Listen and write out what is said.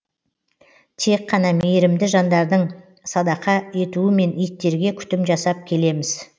тек қана мейірімді жандардың садақа етуімен иттерге күтім жасап келеміз